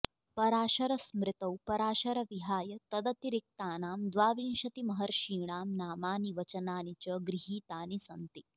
पराशरस्मृतौ पराशर विहाय तदतिरिक्तानां द्वाविंशतिमहर्षीणां नामानि वचनानि च गृहीतानि सन्ति